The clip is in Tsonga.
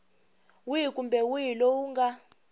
wihi kumbe wihi lowu nga